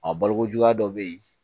A balokojuguya dɔ bɛ yen